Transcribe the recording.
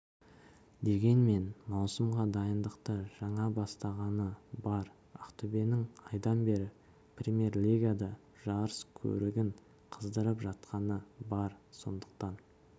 дегенмен маусымға дайындықты жаңа бастағаны бар ақтөбенің айдан бері премьер-лигада жарыс көрігін қыздырып жатқаны бар сондықтан